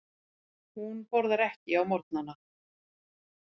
Hún borðar ekki á morgnana.